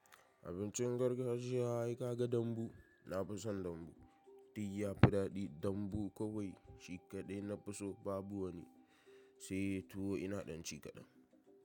Abincin gargajiya haka ka ga dambu. Na fi son dambu. Diy ya fi daɗi. Dambu kawai, shi kaɗai na fi so. Babu wani sai tuwo ina ɗan ci kaɗan.